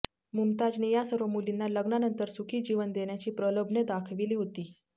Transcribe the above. मुमताजने या सर्व मुलींना लग्नानंतर सुखी जीवन देण्याची प्रलोभने दाखविली होती